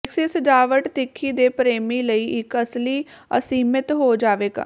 ਵਿਕਸਿਤ ਸਜਾਵਟ ਤਿੱਖੀ ਦੇ ਪ੍ਰੇਮੀ ਲਈ ਇੱਕ ਅਸਲੀ ਅਸੀਮਿਤ ਹੋ ਜਾਵੇਗਾ